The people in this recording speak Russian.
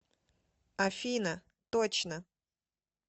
афина точно